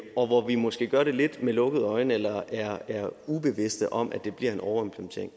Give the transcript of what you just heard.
og hvor vi måske gør det lidt med lukkede øjne eller er ubevidste om at det bliver en overimplementering